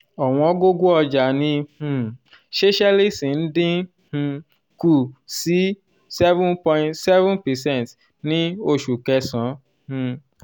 owongogo ọjà ní um seychelles ń dín um kù sí seven point seven percent ní oṣù kẹsán um